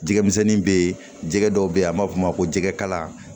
Jɛgɛmisɛnnin bɛ yen jɛgɛ dɔw bɛ yen an b'a fɔ o ma ko jɛgɛ kala